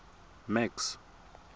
max